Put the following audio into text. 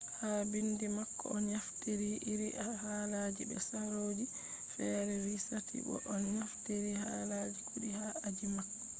ha bindi mako o naftiri iri halaji be sarooji fere vi sati bo o naftiri halaji kudi ha aji mako